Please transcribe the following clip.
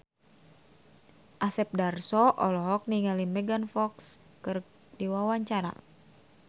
Asep Darso olohok ningali Megan Fox keur diwawancara